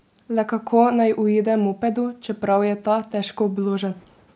Le kako naj uide mopedu, čeprav je ta težko obložen?